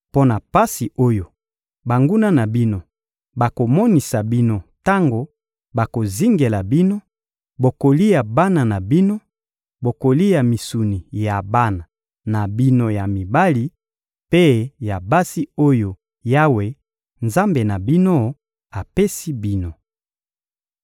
Mpo na pasi oyo banguna na bino bakomonisa bino tango bakozingela bino, bokolia bana na bino, bokolia misuni ya bana na bino ya mibali mpe ya basi oyo Yawe, Nzambe na bino, apesi bino.